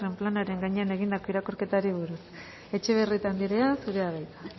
planaren gainean egindako irakurketari buruz etxebarrieta anderea zurea da hitza